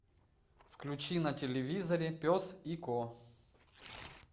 включи на телевизоре пес и ко